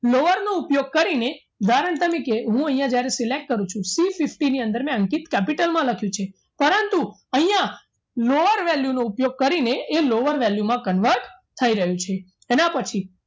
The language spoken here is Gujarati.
ઉપયોગ કરીને ઉદાહરણ તરીકે હું અહીંયા જ્યારે select કરું છું Cfifty ની અંદર મેં અંકિત capital માં લખ્યું છે પરંતુ અહીંયા lower value નો ઉપયોગ કરી ને એ lower value માં convert થઈ રહ્યું છે એના પછી